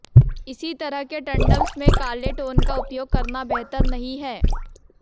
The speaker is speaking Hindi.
इसी तरह के टंडम्स में काले टोन का उपयोग करना बेहतर नहीं है